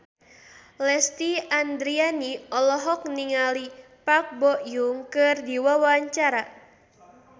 Lesti Andryani olohok ningali Park Bo Yung keur diwawancara